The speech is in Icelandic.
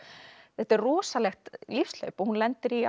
þetta er rosalegt lífshlaup og hún lendir í